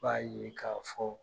B'a ye k'a fɔ